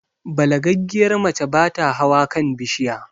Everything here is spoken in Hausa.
Balagaggiyar mace bata hawa kan bishiya